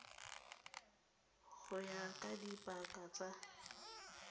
go ya ka dipaka tsa